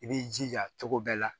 I b'i jija cogo bɛɛ la